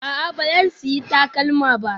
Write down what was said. A'a, ba zan sayi takalma ba